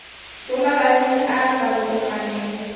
mo mabakeng a a farologaneng